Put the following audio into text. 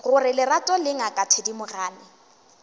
gore lerato le ngaka thedimogane